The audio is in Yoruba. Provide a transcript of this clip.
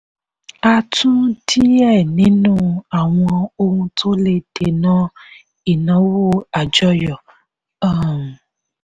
a tún díẹ̀ nínú àwọn ohun tó le dènà ináwó àjọyọ̀. um